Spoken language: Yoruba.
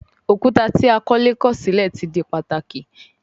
Òkúta tí akọ́lé kọ̀ sílẹ̀ ti di pàtàkì